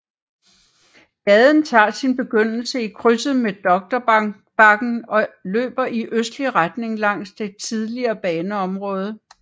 Gaden tager sin begyndelse i krydset med Doktorbakken og løber i en østlig retning langs det tidligere baneområde